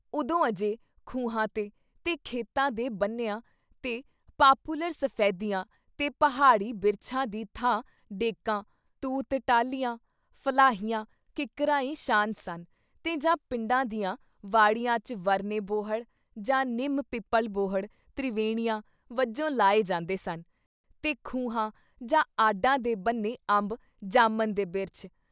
ਉਦੋਂਂ ਅਜੇ ਖੂਹਾਂ ‘ਤੇ, ਤੇ ਖੇਤਾਂ ਦੇ ਬੰਨਿਆਂ ‘ਤੇ ਪਾਪੂਲਰ, ਸਫੈਦਿਆਂ ਤੇ ਪਹਾੜੀ ਬਿਰਛਾਂ ਦੀ ਥਾਂ ਡੇਕਾਂ, ਤੂਤ ਟਾਹਲੀਆਂ, ਫਲਾਹੀਆਂ ਕਿੱਕਰਾਂ ਈ ਸ਼ਾਨ ਸਨ ਤੇ ਜਾਂ ਪਿੰਡਾਂ ਦੀਆਂ ਵਾੜੀਆਂ ‘ਚ ਵਰਨੇ ਬੋਹੜ ਜਾਂ ਨਿੰਮ ਪਿੱਪਲ ਬੋੜ੍ਹ ਤ੍ਰਿਵੈਣੀਆਂ ਵੱਜੋਂ ਲਾਏ ਜਾਂਦੇ ਸਨ ਤੇ ਖੂਹਾਂ ਜਾਂ ਆਡਾ ਦੇ ਬੰਨ੍ਹੇ ਅੰਬ, ਜਾਮਨ ਦੇ ਬਿਰਛ।